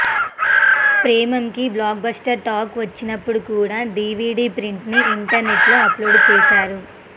ప్రేమమ్కి blockbuster talk వచ్చినప్పుడు కూడా DVD ప్రింట్ని ఇంటర్నెట్లో అప్లోడ్ చేసారు